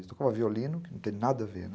Ele tocava violino, que não tem nada a ver, né?